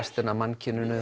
restina af mannkyninu